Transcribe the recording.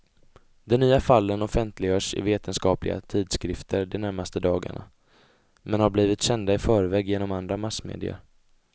De nya fallen offentliggörs i vetenskapliga tidskrifter de närmaste dagarna, men har blivit kända i förväg genom andra massmedier.